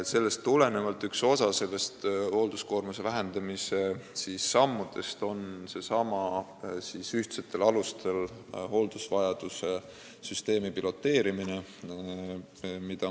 Sellest tulenevalt on üks osa hoolduskoormuse vähendamise sammudest seesama ühtsetel alustel hooldusvajaduse süsteemi piloteerimine.